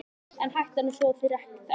En hættan er sú að þeir þekki